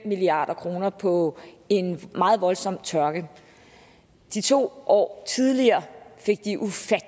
milliard kroner på en meget voldsom tørke de to år tidligere fik